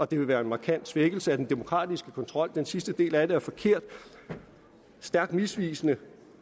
det vil være en markant svækkelse af den demokratiske kontrol den sidste del af det er forkert og stærkt misvisende